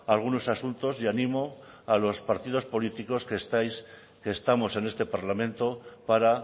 algunos asuntos y animo a los partidos políticos que estamos en este parlamento para